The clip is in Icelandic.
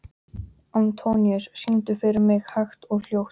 Antóníus, syngdu fyrir mig „Hægt og hljótt“.